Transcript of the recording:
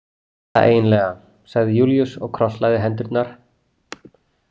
Allt þetta eiginlega, sagði Júlíus og krosslagði hendurnar.